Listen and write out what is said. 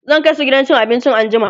zan kaisu gidan cin abinci anjima